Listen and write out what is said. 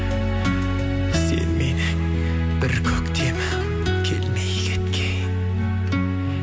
сен менің бір көктемім келмей кеткен